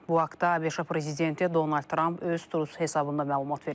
Bu haqda ABŞ prezidenti Donald Tramp öz Twitter hesabında məlumat verib.